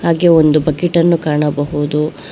ಹಾಗೆ ಒಂದು ಬಕೆಟ್ ಅನ್ನು ಕಾಣಬಹುದು.